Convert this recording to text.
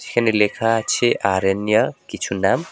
এখানে লেখা আছে আরান্যিয়া কিছু নাম।